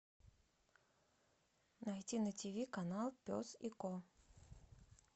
найти на ти ви канал пес и ко